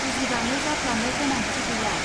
बुजिबाङै जाफ्लानो गोनांथि गैया